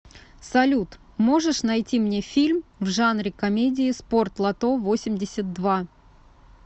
салют можешь найти мне фильм в жанре комедии спортлото весемьдесят два